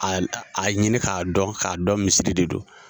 A a ɲini k'a dɔn, ka kaa dɔn misiri de don.